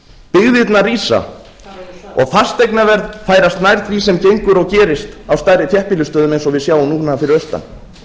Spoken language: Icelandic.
byggðirnar rísa og fasteignaverð færast nær því sem gengur og gerist á stærri þéttbýlisstöðum eins og við sjáum núna fyrir austan